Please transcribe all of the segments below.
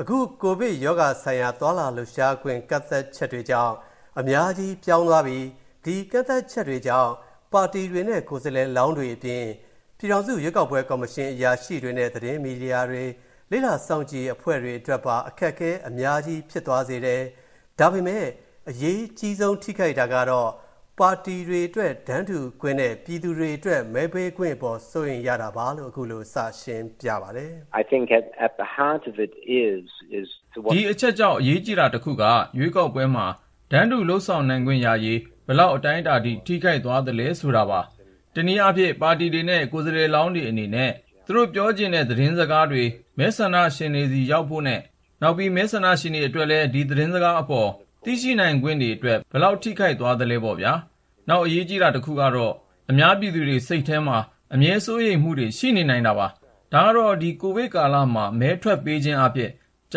အခု ကိုဗစ်ရောဂါဆိုင်ရာသွားလာလှုပ်ရှားခွင့်ကန့်သတ်ချက်တွေကြောင့်၊ အများကြီးပြောင်းသွားပြီ၊ ဒီကန့်သတ်ချက်တွေကြောင့် ပါတီတွေနဲ့ ကိုယ်စားလှယ်လောင်းတွေအပြင်၊ ပြည်ထောင်စုရွေးကောက်ပွဲကော်မရှင်အရာရှိတွေနဲ့ သတင်းမီဒီယာတွေ၊ လေ့လာစောင့်ကြည့်အရေးအဖွဲ့တွေအတွက်ပါ အခက်အခဲတွေအများကြီးဖြစ်စေတယ်၊ ဒါပေမဲ့ အရေးကြီးဆုံးထိခိုက်တာကတော့ ပါတီတွေအတွက် တန်းတူခွင့်နဲ့ ပြည်သူတွေအတွက် မဲပေးခွင့်အပေါ် စိုးရိမ်ရတာပါပဲလို့ ခုလိုစရှင်းပြပါတယ်။ “ဒီအချက်ကြောင့် အရေးကြီးတာတစ်ခုက ရွေးကောက်ပွဲမှာ တန်းတူလုပ်ဆောင်နိုင်ခွင့်ရရေး၊ ဘယ်လောက်အတိုင်းအတာထိ ထိခိုက်သွားလဲဆိုတာပါ။ တစ်နည်းအားဖြင့် ပါတီတွေနဲ့ ကိုယ်စားလှယ်လောင်တွေအနေနဲ့၊ သူတို့ပြောချင်တာတဲ့သတင်းစကားတွေ မဲဆန္ဒရှင်တွေဆီရောက်ဖို့နဲ့၊ နောက် မဲဆန္ဒရှင်တွေအတွက်လည်း ဒီသတင်းစကားအပေါ် သိရှိနိုင်ခွင့်တွေအတွက်၊ ဘယ်လောက်ထိခိုက်သွားလဲပေါ့ဗျာ။ နောက်အရေးကြီးတာတစ်ခုကတော့ အများပြည်သူတွေစိတ်ထဲမှာ အမြဲစိုးရိမ်မူတွေရှိနေနိုင်တာပါ။ ဒါကတော့ ဒီကိုဗစ်ကာလမှာ မဲထွက်ပေးခြင်းအားဖြင့် ကျ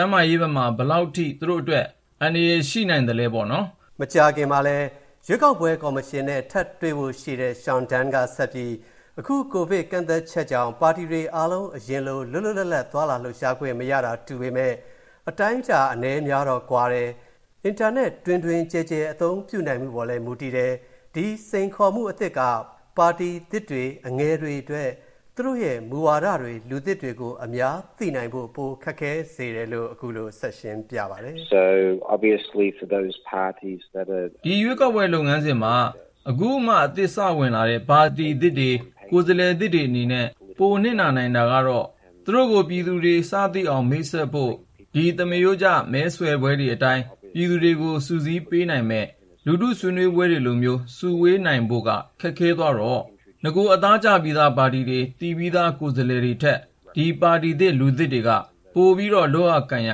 န်းမာရေးဘက်မှာ ဘယ်လောက်ထိ သူတို့အတွက် အန္တရာယ်ရှိနိုင်သလဲပေါ့နော်။” မကြာခင်မှာ ရွေးကောက်ပွဲကော်မရှင်နဲ့ ထပ်တွေ့ဖို့ရှိတဲ့ Sean Dunne က ဆက်ပြီး၊ အခု ကိုဗစ်ကန့်သတ်ချက်ကြောင့် ပါတီတွေအားလုံး အရင်လို လွတ်လွတ်လပ်လပ် သွားလာလှုပ်ရှားခွင့်မရတာတူပေမဲ့ အတိုင်းအတာအနည်းအများကတော့ ကွာတယ်၊ အင်တာနက် တွင်တွင်ကျယ်ကျယ် အသုံးပြုနိုင်မူပေါ်လည်းမူတည်တယ်၊ ဒီစိန်ခေါ်မူအသစ်က ပါတီသစ်တွေ၊ အငယ်တွေအတွက် သူတို့ရဲ့ မူဝါဒတွေ၊ လူသစ်တွေကို အများသိနိုင်ဖို့ ပိုခက်ခဲစေတယ်လို့ ခုလိုဆက်ရှင်းပြပါတယ်။ “ဒီရွေးကောက်ပွဲလုပ်ငန်းစဉ်မှာ အခုမှ အသစ်စဝင်လာတဲ့ ပါတီသစ်တွေ၊ ကိုယ်စားလှယ်သစ်တွေအနေနဲ့ ပိုနစ်နာနိုင်တာကတော့၊ သူတို့ကို ပြည်သူတွေ စသိအောင်မိတ်ဆက်ဖို့၊ ဒီ သမရိုးကျ မဲဆွယ်ပွဲတွေအတိုင်း၊ ပြည်သူတွေကိုစုစည်းပေးနိုင်မဲ့ လူထုဆွေးနွေးပွဲတွေလိုမျိုး စုဝေးနိုင်ဖို့က ခက်ခဲသွားတော့၊ နဂိုအသားကျပြီးသားပါတီတွေ၊ သိပြီးသား ကိုယ်စားလှယ်တွေထက်၊ ဒီပါတီသစ်၊ လူသစ်တွေက၊ ပို လုပ်ရကိုင်ရ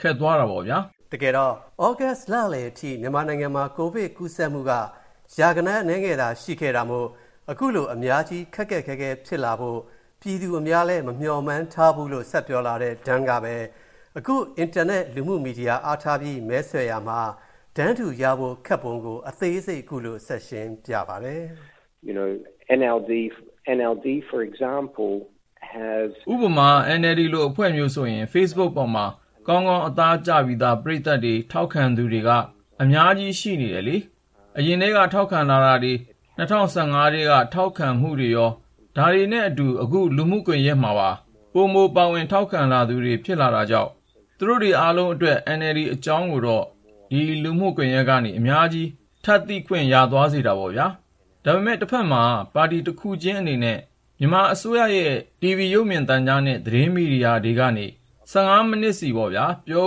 ခက်သွားတာပေါ့ဗျာ။” တကယ်တော့ သြဂုတ်လလည်ထိ မြန်မာနိုင်ငံမှာ ကိုဗစ်ကူးစက်မူက ရာဂဏန်းအနည်းငယ်သာရှိခဲ့တာမို့၊ ခုလို အများကြီး ခက်ခက်ခဲခဲဖြစ်လာဖို့ ပြည်သူအများလဲမမျှော်မှန်းထားဖူးလို့ ဆက်ပြောလာတဲ့ Dunne ကပဲ အခု အင်တာနက်လူမူမီဒီယာအားထားပြီး မဲဆွယ်ရမှာ တန်းတူရဖို့ခက်ပုံကို အသေးစိတ်ခုလိုဆက်ရှင်းပြပါတယ်။ “ဥပမာ NLD လိုအဖွဲ့မျိုးဆိုရင် Facebook ပေါ်မှာ ကောင်ကောင်း အသားကျပြီးသား ပရိသတ်တွေ၊ ထောက်ခံသူတွေက အများကြီးရှိနေတယ်လေ။ အရင်ထဲက ထောက်ခံလာမူတွေ ၂၀၁၅ ထဲကထောက်ခံလာမူတွေရော ဒါတွေနဲ့အတူ အခု လူမူကွန်ယက်မှာ ပိုပိုပါဝင်ထောက်ခံလာသူတွေ ဖြစ်လာတာကြောင့်၊ သူတို့တွေအားလုံးအတွက်၊ NLD အကြောင်းတွေကိုတော့ ဒီ လူမူကွန်ယက်ကနေ အများကြီး ပိုထပ်သိခွင့်ရစေတာပေါ့နော်။ ဒါပေမယ့် တဖက်မှာတော့၊ ပါတီတစ်ခုချင်းအနေနဲ့ မြန်မာအစိုးရရဲ့ TV ရုပ်မြင်သံကြားနဲ့ သတင်းမီဒီယာတွေကနေ၊ ၁၅ မီးနစ်စီပေါ့ဗျာ၊ ပြော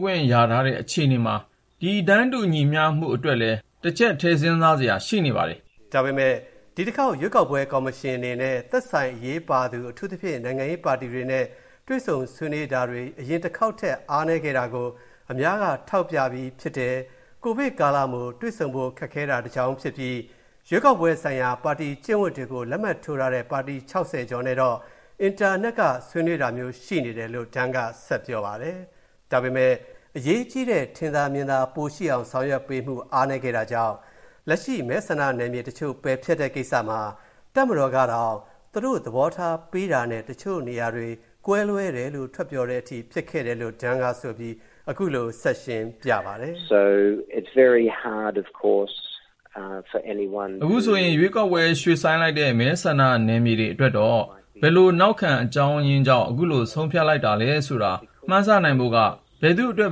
ခွင့်တော့ ရထားတဲ့အခြေအနေမှာ၊ ဒီ တန်းတူမူညီမျှရှိမူအတွက်လည်း၊ တစ်ချက်ထည့်စဉ်းစားစရာ ရှိနေပါတယ်။” ဒါပေမဲ့ ဒီတစ်ခေါက် ရွေးကောက်ပွဲကော်မရှင်အနေနဲ့၊ သက်ဆိုင်အရေးပါသူ အထူးသဖြင့် နိုင်ငံရေးပါတီတွေနဲ့ တွေ့ဆုံဆွေးနွေးတာတွေ အရင်တစ်ခေါက်ထက် အားနည်းခဲ့တာကို အများက ထောက်ပြပြီးဖြစ်တယ်၊ ကိုဗစ်ကာလမို့ တွေ့ဆုံဖို့ခက်တာတကြောင်းဖြစ်ပြီး၊ ရွေးကောက်ပွဲဆိုင်ရာ ပါတီကျင့်ဝင်တွေကို လက်မှတ်ထိုးထားတဲ့ ပါတီ ၆၀ ကျော်နဲ့တော့၊ အင်တာနက်ကနေ ဆွေးနွေးတာမျိုးရှိနေတယ်လို့ Dunne က ဆက်ပြောပါတယ်။ ဒါပေမယ့် အရေးကြီးတဲ့ ထင်သာမြင်သာပိုရှိအောင်ဆောင်ရွက်ပေးမူ အားနည်းခဲ့တာကြောင့်၊ လက်ရှိ မဲဆန္ဒနယ်မြေတချို.ပယ်ဖျက်တဲ့ကိစ္စမှာ တပ်မတော်ကတောင် သူတို့သဘောထားပေးတာနဲ့ တချို့နေရာတွေ ကွဲလွဲတယ်လို့ ထွက်ပြောတဲ့အထိ ဖြစ်ခဲ့တယ်လို့ Dunne ကဆိုပြီး၊ အခုလို ဆက်ရှင်းပြပါတယ်။ “အခု မဲဆန္ဒနယ်မြေ ရွေ.ဆိုင်းမူတွေအတွက်တော့၊ ဘယ်လိုနောက်ခံအကြောင်းရင်းကြောင့် ခုလို ဆုံးဖြတ်လိုက်တာလဲဆိုတာ၊ မှန်းဆနိုင်ဖို့က၊ ဘယ်သူ့အတွက်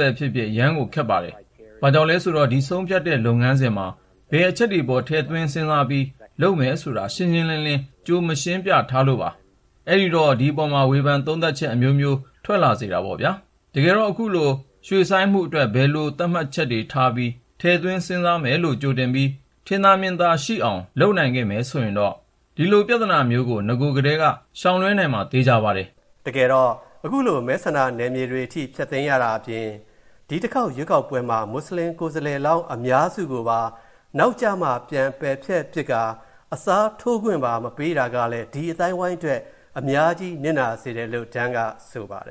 ပဲဖြစ်ဖြစ်၊ အရမ်းကို ခက်ပါတယ်။ ဘာကြောင့်လဲဆိုတော့ ဒီဆုံးဖြတ်တဲ့ လုပ်ငန်းစဉ်မှာ ဘယ်အချက်တွေအပေါ် ထည့်သွင်းစဉ်းစားပြီး လုပ်မယ်ဆိုတာ ရှင်းရှင်းလင်းလင်း ကြိုမရှင်းပြထားလို့ပါ။ အဲ့ဒီတော့ ဒီအပေါ်မှာ ဝေဖန်သုံးသပ်မူ အမျိုးမျိုးထွက်လာစေတာပေါ့ဗျာ။ တကယ်တော့ ခုလို ရွှေ့ဆိုင်းမူတွေအတွက်၊ ဘယ်လို သတ်မှတ်ချက်တွေထားကာ ထည့်သွင်းစဉ်းစားမယ်လို့ ကြိုတင်ပြီး၊ ထင်သာမြင်သာရှိအောင် လုပ်နိုင်ခဲ့မယ်ဆိုရင်တော့၊ ဒီလိုပြဿနာမျိုးကို နဂိုထဲက ရှောင်လွှဲနိုင်မှာ သေချာပါတယ်။” တကယ်တော့၊ ခုလို မဲဆန္ဒနယ်မြေအထိဖျက်သိမ်းရတာအပြင်၊ ဒီတစ်ခေါက်ရွေးကောက်ပွဲမှာ မွတ်ဆလင်ကိုယ်စားလှယ်လောင်းအများစုကိုပါ၊ နောက်ကျမှ ပြန်ပယ်ဖျက်ပစ်ကာ၊ အစားထိုးခွင့်မပေးတာကလည်း၊ ဒီ အသိုင်းအဝိုင်းအတွက် အများကြီးထိခိုက်နစ်နာစေတယ် လို့ Dunne က ဆိုပါတယ်